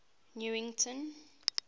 newington